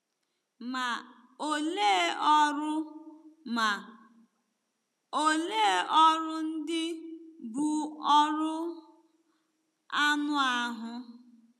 Ma, olee ọrụ Ma, olee ọrụ ndị bụ́ ọrụ anụ ahụ́?